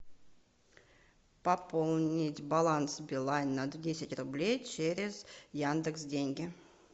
пополнить баланс билайн на десять рублей через яндекс деньги